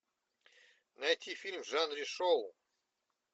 найти фильм в жанре шоу